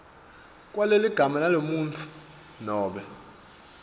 kwaleligama lalomuntfu nobe